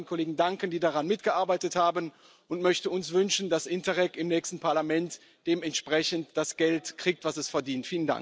Ich möchte allen Kollegen danken, die daran mitgearbeitet haben, und möchte uns wünschen, dass Interreg im nächsten Parlament dementsprechend das Geld kriegt, das es verdient.